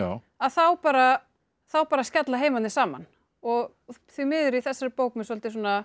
að þá bara þá bara skella heimarnir saman og því miður í þessari bók með svolítið